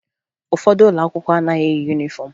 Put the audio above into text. Ụfọdụ ụlọ akwụkwọ anaghị eyi yunifọmụ